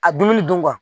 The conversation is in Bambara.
A dumuni dun kuwa